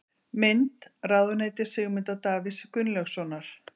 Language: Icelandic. Mynd: Ráðuneyti Sigmundar Davíðs Gunnlaugssonar.